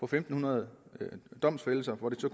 fem hundrede domfældelser og det